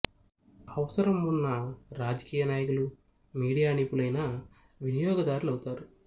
అవసరం ఉన్న రాజకీయ నాయకులు మీడియా నిపుణులైన వినియోగదారులు అవుతారు